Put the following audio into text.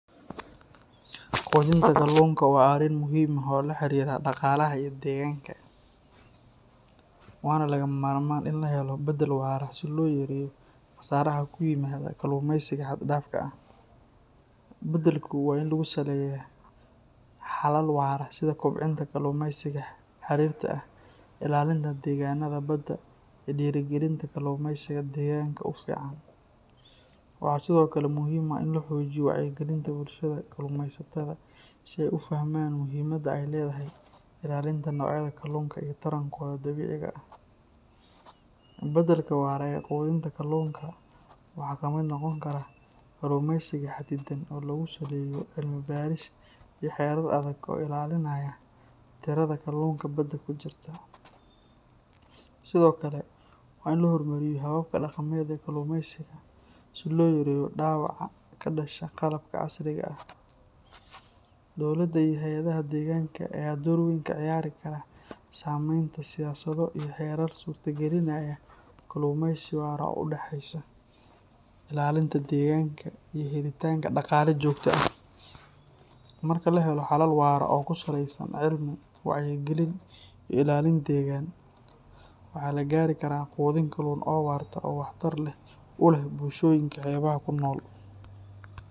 Qudinta kallunka wa ariin muxiim ah oo laharira daqalaha iyo deganka, wana lagamarman in lahelo badaal waraa si loyareyo qasara kuyimada kallumeska haddafka ah, badalku wa in lagusameyo halal wara sidha diirta ilalintabdeganada badaa, dirigalinta kallumeysiga deganka ufican waxa kalo oo muxiim ah in wayci galinta bulshada kallumeysatada si ay ufahmaan muxiimada ay ledahay ilalinta nicyada kallunka iyo tarankoda dabiciga ah, badalka wara ee kallunka waha kamid nogonkara kallumisa hadidaan oo lagusameyo cilmi bariis iyo herar adag oo ilalinaya dirada kallunta badaa kujrta, sidhokale waxa lahormariya kallumeysiga si loyareyo dawaca kadasha qalabka casriga ah, dowlada iyo hayyadaha deganka aya door weyn kaciyari karaa sameunta siyasadaha iyo herar surta gallin, kallumeysiga udaxeysa ilalinta deganka iyo helitanka dagalaha jogta ah, marka lahelo herar oo kusaleysa cilmi wacyi galiin iyo ilalin degan, waxa lagari karaa qudiin kallun oo waxtar leh bulshoyinka qurbaha kunol.